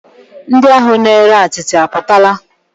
Ndị ahụ na-ere atịtị apụtala?